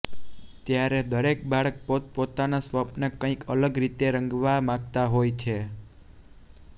ત્યારે દરેક બાળક પોતે પોતાના સ્વપ્ન કઈક અલગ રીતે રંગવા માંગતા હોય છે